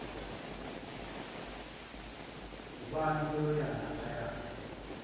ubani uyaya laphayana